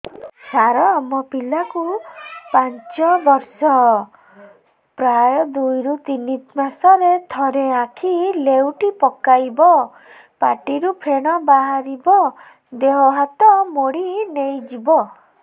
ସାର ମୋ ପିଲା କୁ ପାଞ୍ଚ ବର୍ଷ ପ୍ରାୟ ଦୁଇରୁ ତିନି ମାସ ରେ ଥରେ ଆଖି ନେଉଟି ପକାଇବ ପାଟିରୁ ଫେଣ ବାହାରିବ ଦେହ ହାତ ମୋଡି ନେଇଯିବ